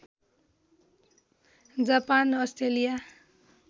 Japan Australia